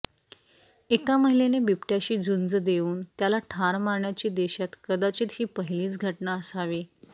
एका महिलेने बिबट्याशी झुंज देऊन त्याला ठार मारण्याची देशात कदाचित ही पहिलीच घटना असावी